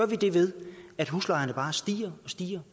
vi det ved at huslejerne bare stiger stiger